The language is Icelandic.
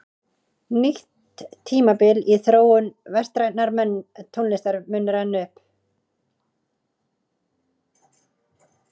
Nýtt tímabil í þróun vestrænnar tónlistar muni renna upp.